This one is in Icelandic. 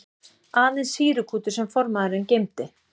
Aðeins sýrukútur sem formaðurinn geymdi.